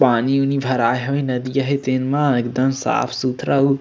पानी उनी भराय हवे नदिया हे तेन मा एकदम साफ-सुथरा अउ --